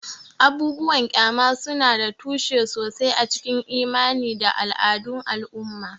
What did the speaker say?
Abubuwan ƙyama suna da tushe sosai a cikin imani da al'adun al'umma.